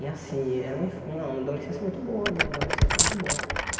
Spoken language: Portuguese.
E assim, era uma inf uma adolescência muito boa, minha adolescência foi muito boa.